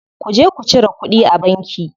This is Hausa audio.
Ku je ku cire kuɗi a banki.